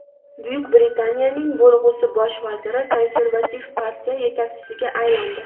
Buyuk Britaniyaning bo‘lg‘usi bosh vaziri Konservativ partiya yetakchisiga aylandi.